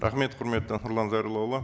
рахмет құрметті нұрлан зайроллаұлы